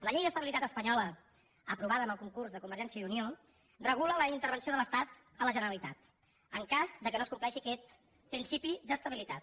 la llei d’estabilitat espanyola aprovada amb el concurs de convergència i unió regula la intervenció de l’estat a la generalitat en cas que no es compleixi aquest principi d’estabilitat